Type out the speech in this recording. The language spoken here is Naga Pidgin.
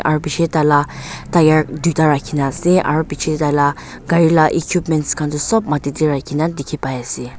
aro pichey taila tyre duita rakhina asey aro pichey dey taila gari la equipments khan du sob mati dey rakhina dikhi pai asey.